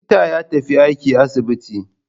Likita ya tafi aiki asibiti.